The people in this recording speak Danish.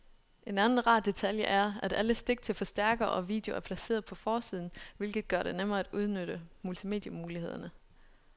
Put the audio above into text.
En anden rar detalje er, at alle stik til forstærker og video er placeret på forsiden, hvilket gør det nemmere at udnytte multimedie-mulighederne.